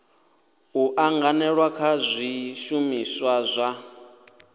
u anganelana kha zwishumiswa zwa